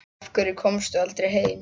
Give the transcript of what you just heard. Af hverju komstu aldrei heim?